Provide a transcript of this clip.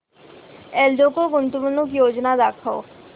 एल्डेको गुंतवणूक योजना दाखव